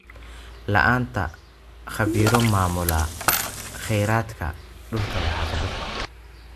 La'aanta khabiiro maamula kheyraadka dhulka waa caqabad.